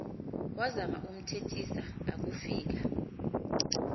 wazama ukumthethisa akufika